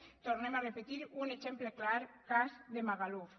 ho tornem a repetir un exemple clar cas de magaluf